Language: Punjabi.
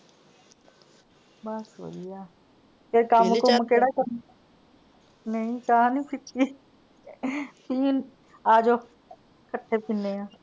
ਬੱਸ ਵਧਿਆ। ਤੇ ਕੱਮ ਕੁੰਮ ਕਿਹੜਾ ਨਹੀਂ ਚਾਹ ਨੀ ਪੀਤੀ। . ਆਜੋ ਕੱਠੇ ਪਿੰਨੇ ਆ।